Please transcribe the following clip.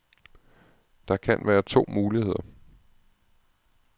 Der kan være to muligheder.